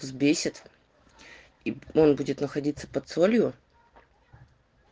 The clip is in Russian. взбесит и он будет находиться под солью